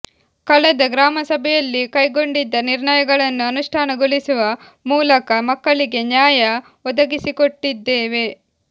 ಕಳೆದ ಗ್ರಾಮಸಭೆಯಲ್ಲಿ ಕೈಗೊಂಡಿದ್ದ ನಿರ್ಣಯಗಳನ್ನು ಅನುಷ್ಠಾನಗೊಳಿಸುವ ಮೂಲಕ ಮಕ್ಕಳಿಗೆ ನ್ಯಾಯ ಒದಗಿಸಿಕೊಟ್ಟಿದ್ದೇವೆ